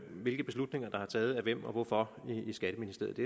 hvilke beslutninger der er taget af hvem og hvorfor i skatteministeriet